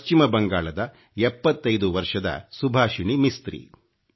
ಪಶ್ಚಿಮ ಬಂಗಾಳದ 75 ವರ್ಷದ ಸುಭಾಷಿಣಿ ಮಿಸ್ತ್ರಿ